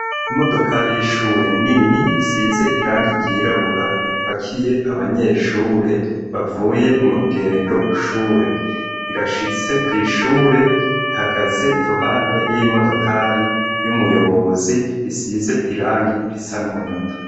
Imodokari y'ishure nini isize irangi ryirabura ipakiye abanyeshure bavuye mu rugendo shure, irashitse kw'ishure ihagaze iruhande y'imodokari y'umuyobozi isize irangi risa n'umunyota.